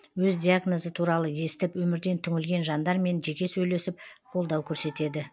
өз диагнозы туралы естіп өмірден түңілген жандармен жеке сөйлесіп қолдау көрсетеді